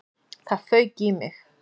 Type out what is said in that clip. Það fauk í mig.